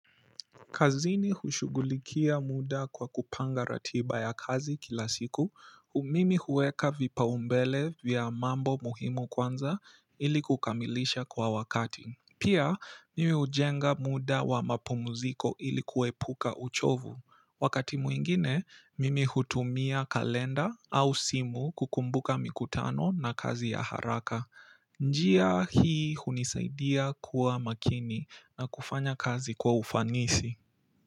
Kazini hushughulikia muda kwa kupanga ratiba ya kazi kila siku, mimi huweka vipao mbele vya mambo muhimu kwanza ili kukamilisha kwa wakati pia, mimi hujenga muda wa mapumuziko, ili kuepuka uchovu. Wakati mwingine, mimi hutumia kalenda au simu, kukumbuka mikutano na kazi ya haraka. Njia hii hunisaidia kuwa makini na kufanya kazi kwa ufanisi.